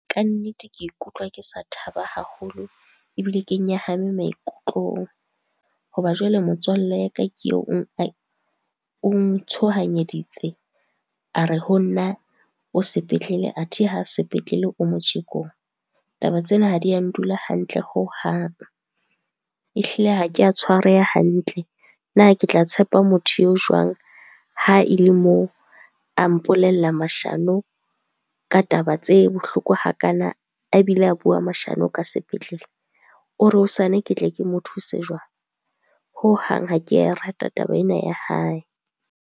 Kannete ke ikutlwa ke sa thaba haholo ebile ke nyahame maikutlong. Hoba jwale motswalle ya ka ke eo o ntshohanyeditse a re ho nna, o sepetlele athe ha sepetlele o motjekong. Taba tsena ha di a ndula hantle hohang, ehlile ha kea tshwareha hantle. Na ke tla tshepa motho eo jwang? ha e le moo a mpolella mashano ka taba tse bohloko hakana, a bile a bua mashano ka sepetlele. O re hosane ke tle ke mo thuse jwang. Hohang ha ke ya e rata taba ena ya hae.